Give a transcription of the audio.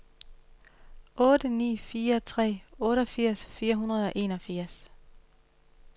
otte ni fire tre otteogfirs fire hundrede og enogfirs